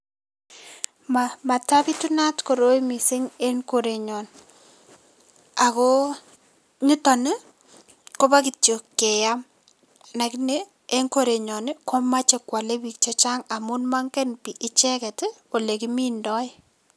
Matapitunat koroi mising en korenyon, ako nito ni kobo kityo keam lakini en korenyon komache kwole piik che chang amun mongen piik icheket ii ole kimindoi.